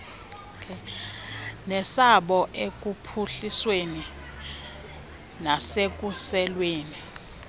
nesabo ekuphuhlisweni nasekusekweni